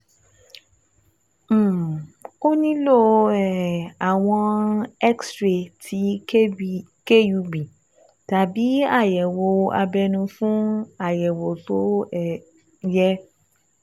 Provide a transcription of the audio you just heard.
um O nílò um àwòrán X-ray ti KUB tàbí àyẹ̀wò abẹ́nú fún àyẹ̀wò tó um yẹ